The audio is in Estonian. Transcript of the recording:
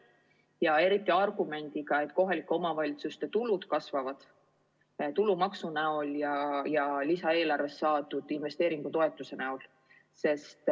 Eriti, kui käiakse välja argument, et kohalike omavalitsuste tulud kasvavad tulumaksu näol ja lisaeelarvest saadud investeeringutoetuse näol.